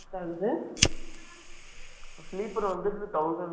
sleeper வந்துட்டு thousand two hundred அந்த மாரி வரும்